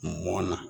Mɔnna